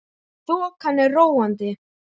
Þokan er róandi